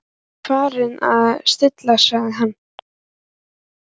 Það er farið að slitna sagði hann.